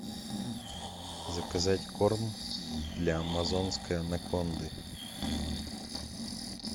заказать корм для амазонской анаконды